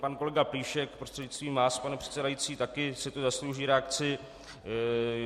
Pan kolega Plíšek, prostřednictvím vás, pane předsedající, také si to zaslouží reakci.